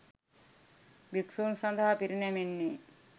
භික්‍ෂූන් සඳහා පිරිනැමෙන්නේ